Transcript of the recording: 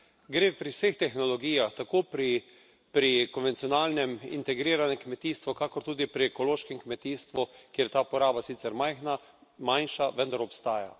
Gre pri vseh tehnologijah tako pri konvencionalnem, integriranem kmetijstvu kakor tudi pri ekološkem kmetijstvu, kjer je ta uporaba sicer majhna, manjša, vendar obstaja.